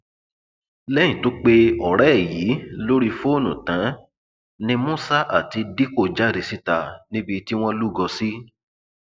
lẹyìn tó pe ọrẹ ẹ yìí lórí fóònù tán ni musa àti dikko jáde síta níbi tí wọn lúgọ sí